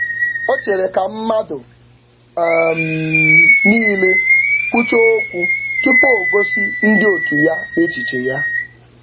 O chere ka mmadụ um niile kwuchaa okwu tupu o gosi ndị otu ya echiche ya.